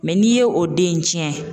n'i ye o den in tiɲɛ.